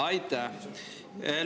Aitäh!